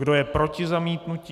Kdo je proti zamítnutí?